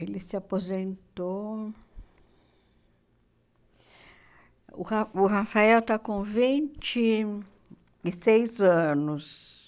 Ele se aposentou... O Ra o Rafael está com vinte e seis anos.